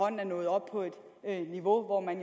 er nået op på et niveau hvor man